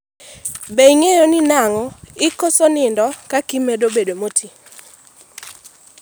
be ing'eyo ni nang'o ikoso nindo kaka imedo bet moti?